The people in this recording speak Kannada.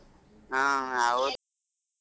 ಹಾ ಹೌದು.